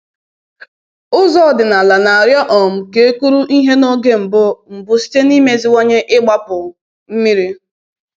“Ụzọ ọdịnala na-arịọ um ka e kụrụ ihe n’oge mbụ mbụ site n’imeziwanye igbapu mmiri